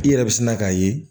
I yɛrɛ bɛ sina k'a ye